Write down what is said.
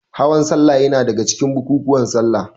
Hawan salla yana daga cikin bukukuwan salla.